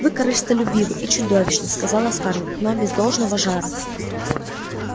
вы корыстолюбивы и чудовищны сказала скарлетт но без должного жара